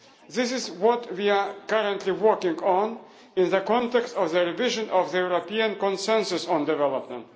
This is what we are currently working on in the context of the revision of the European Consensus on Development.